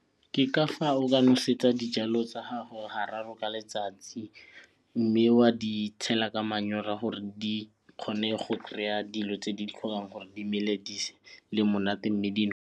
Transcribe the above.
Ke ka fa o ka nosetsa dijalo tsa gago ga raro ka letsatsi mme wa di tshela ka manyora gore di kgone go kry-a dilo tse di tlhokang gore di mele di le monate mme .